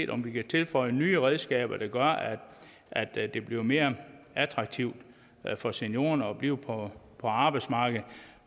om vi kan tilføje nye redskaber der gør at at det bliver mere attraktivt for seniorerne at blive på arbejdsmarkedet